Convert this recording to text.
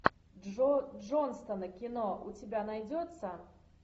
джо джонстона кино у тебя найдется